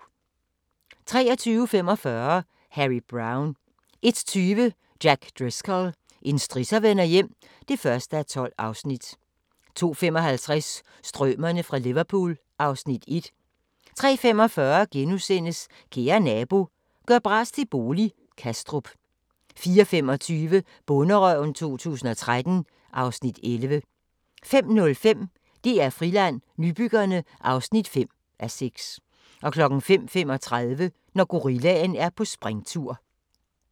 23:45: Harry Brown 01:20: Jack Driscoll – en strisser vender hjem (1:12) 02:55: Strømerne fra Liverpool (Afs. 1) 03:45: Kære nabo – gør bras til bolig – Kastrup * 04:25: Bonderøven 2013 (Afs. 11) 05:05: DR Friland: Nybyggerne (5:6) 05:35: Når gorillaen er på springtur